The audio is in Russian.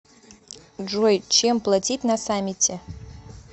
джой чем платить на самете